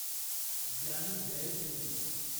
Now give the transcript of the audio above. Giani Zail Singh